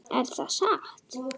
Er þetta satt?